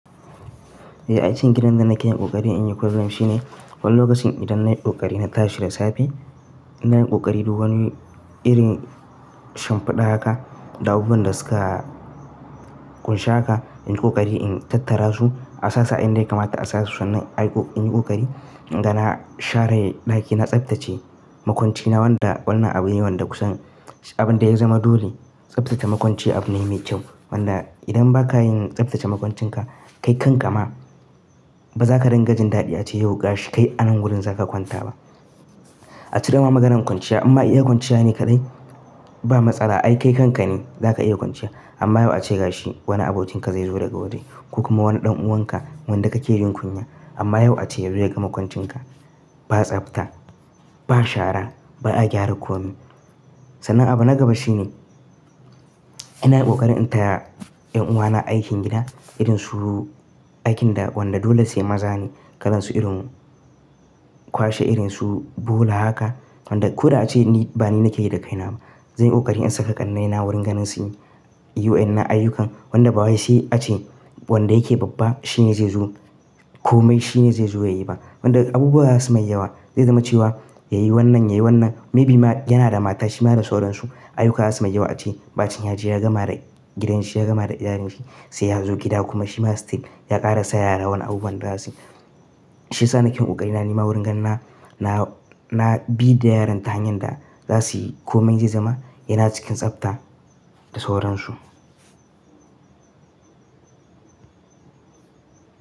Eh aikin gidan da nake yin ƙoƙari in yi kullun shi ne, wani lokacin idan nayi ƙoƙari na tashi da safe, ina yin ƙoƙari duk wani iri shimfiɗa haka, da abubuwan da suka ƙunshi haka, ina yi ƙoƙari in tattara su a sassu inda ya kamata a sasu sannan in yi ƙoƙari in gana share ɗakina, tsaftace makwanci na wanda wannan abu ne wanda kusan abin da ya zama dole tsaftace makwanci abu ne mai kyau. Wanda idan ba ka yin tsaftace makwancinka kai kanka ma ba za ka ringajin daɗi ace yau gashi kai anan wurin za ka kwanta ba. A cire ma maganan kwanciya amma iya kwanciya ne kaɗai ba matsala ai kai kanka ne za ka iya kwanciya amma yau ace gashi wani abokinka zai zo daga waje ko kuma wani ɗan'uwanka wanda kake jin kunya amma yau ace ya zo ya gama kwancinka ba tsafta, ba shara ba a gyara komai. Sanan abu na gaba shi ne ina yin ƙoƙari in taya ƴan uwana aikin gida irin su aikin da wanda dole sai maza ne kalansu irin kwashe irin su bola haka wanda ko da ace ni ba ni nake yi da kaina ba. Zanyi ƙoƙari in saka ƙannaina wurin ganin su yi wa'inan na ayyukan wanda baya sai ace wanda yake babba shine zai zo komai shine zai zo ya yi ba. Wanda abubuwa za su may yawa zai zama cewa yayi wannan yayi wannan maybe yana da mata shi ma da sauraransu ayyuka za su may a ce ɓacin ya je ya gama da gidan shi ya gama da iyalin shi sai yazo gida kuma shi ma still ya ƙara sa yara wani abubuwan da za suyi shi sa nakeyin ƙoƙari na nima wurin ganin na, na bi da yaran ta hanyar da za suyi komai zai zama yana cikin tsafta da sauransu.